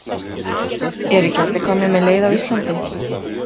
Eru ekki allir komnir með leið á Íslandi?